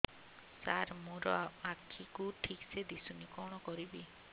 ସାର ମୋର ଆଖି କୁ ଠିକସେ ଦିଶୁନି କଣ କରିବି